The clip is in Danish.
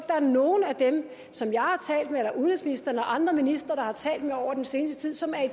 der er nogen af dem som jeg eller udenrigsministeren eller andre ministre har talt med over den seneste tid som er i